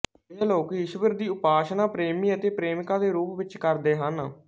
ਇਹ ਲੋਕ ਈਸ਼ਵਰ ਦੀ ਉਪਾਸਨਾ ਪ੍ਰੇਮੀ ਅਤੇ ਪ੍ਰੇਮਿਕਾ ਦੇ ਰੂਪ ਵਿੱਚ ਕਰਦੇ ਹਨ